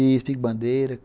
Isso, pique-bandeira.